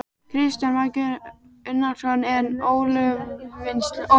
Kristján Már Unnarsson: En olíuvinnsla?